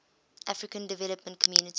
african development community